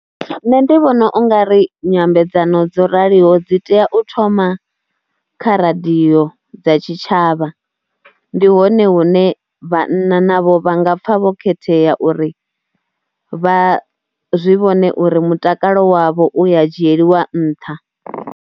Nṋe ndi vhona u nga ri nyambedzano dzo raliho dzi tea u thoma kha radio dza tshitshavha, ndi hone hune vhanna navho vha nga pfha vho khethea uri vha zwi vhone uri mutakalo wavho u ya dzhieliwa nṱha.